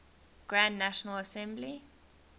grand national assembly